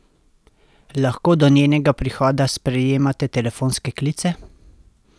Lahko do njenega prihoda sprejemate telefonske klice?